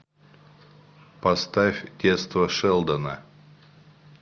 поставь детство шелдона